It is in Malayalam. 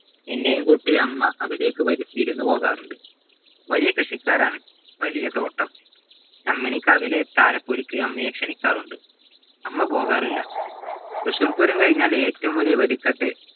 എന്നെയും കൂട്ടി അമ്മ അവിടെക്ക് വിരുന്നുപോവാറുണ്ട് വലിയ കൃഷിക്കാരാണ് വലിയ തോട്ടം ചമ്മിണിക്കാവിലെ താരപൊലിക്ക് അമ്മയെ ക്ഷണിക്കാറുണ്ട് 'അമ്മ പോകാറില്ല തൃശൂർപൂരം കഴിഞ്ഞാൽ ഏറ്റവും വലിയ വെടിക്കെട്ട്